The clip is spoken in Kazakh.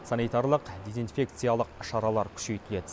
санитарлық дезинфекциялық шаралар күшейтіледі